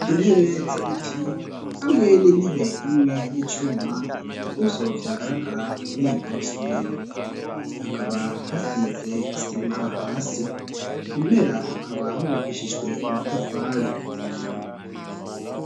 Intebe z'ibiti hamwe n'intebe imwe y'icuma nivyo vyagaragara muri iryo somero. Hakaba hasize isima hasi; impera hakaba hubakishijwe amatafari.